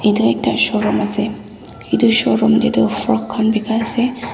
edu ekta showroom ase edu showroom tae ti frock khan bikaiase.